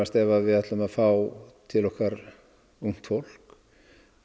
ef við ætlum að fá til okkar ungt fólk